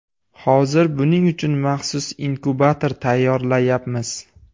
Hozir buning uchun maxsus inkubator tayyorlayapmiz.